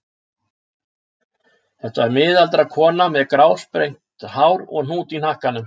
Þetta var miðaldra kona með grásprengt hár og hnút í hnakkanum.